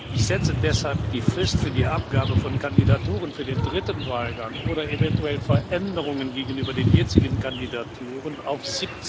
Ich setze deshalb die Frist für die Abgabe von Kandidaturen für den dritten Wahlgang oder eventuelle Veränderungen gegenüber den jetzigen Kandidaturen auf